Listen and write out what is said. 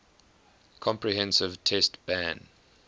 comprehensive test ban